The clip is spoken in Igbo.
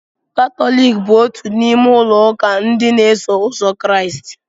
Katọlik bụ otú n'ime ụlọ ụka ndị na-eso ụzọ Kraịst.